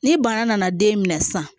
Ni bana nana den minɛ sisan